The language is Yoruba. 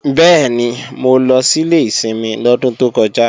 Bẹ́ẹ̀ni, mo lọ sílé ìsinmi lọ́dún tó kọjá